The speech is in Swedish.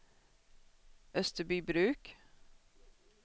Österbybruk